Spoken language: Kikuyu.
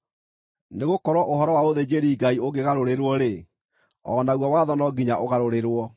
Nĩgũkorwo ũhoro wa ũthĩnjĩri-Ngai ũngĩgarũrĩrwo-rĩ, o naguo watho no nginya ũgarũrĩrwo.